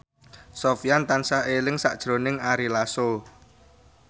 Sofyan tansah eling sakjroning Ari Lasso